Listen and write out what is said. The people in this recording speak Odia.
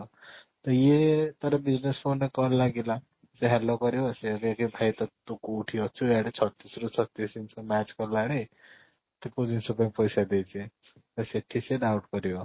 ତ ଇଏ ଥରେ business phone ରେ call ଲାଗିଲା ସେ hello କରିବ ସେ ସେଇଠି ତୁ କୋଉଠି ଅଛୁ ଆଡେ ଛତିଶ ରୁ ଛତିଶ match କଲାଣି ତ କୋଉ ଜିନିଷ ପାଇଁ ପଇସା ଦେଇଚି ତ ସେଠି ସେ doubt କରିବ